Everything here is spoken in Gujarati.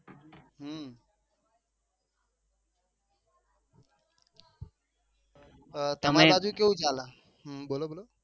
તમાર કેવું ચાલે?